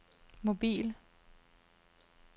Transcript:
mobil